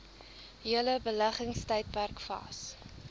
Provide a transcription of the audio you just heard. hele beleggingstydperk vas